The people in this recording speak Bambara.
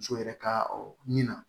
Muso yɛrɛ ka min na